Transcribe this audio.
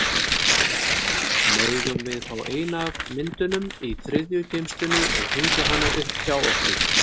Megum við fá eina af myndunum í þriðju geymslunni og hengja hana upp hjá okkur?